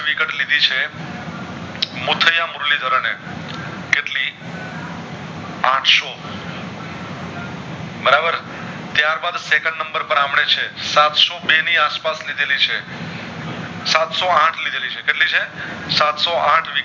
બરાબર ત્યાર બાદ Second number પર આમને છે સાતસો બે ની આસ પાસ લીધેલી છે સાતસો આઠ લીધેલી છે કેટલી છે સસ્ત શો આથ